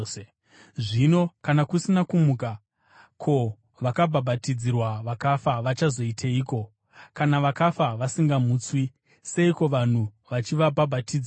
Zvino kana kusina kumuka, ko, vakabhabhatidzirwa vakafa vachazoiteiko? Kana vakafa vasingamutswi, seiko vanhu vachivabhabhatidzirwa?